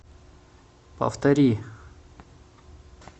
повтори